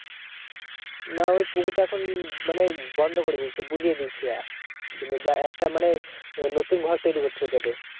না ওই পুকুরটা এখন মানে বন্ধ করে দিয়েছে বুজিয়ে দিয়েছে। মানে যা একটা মানে নতুন ঘর তৈরী করছে ওইটাতে।